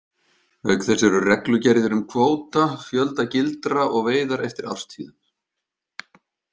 Auk þess eru reglugerðir um kvóta, fjölda gildra og veiðar eftir árstíðum.